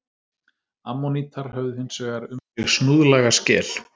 Ammonítar höfðu hins vegar um sig snúðlaga skel.